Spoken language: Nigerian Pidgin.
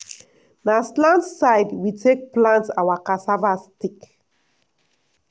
na slant side we take plant our cassava stick.